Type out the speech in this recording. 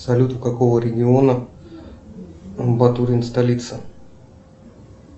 салют у какого региона батурин столица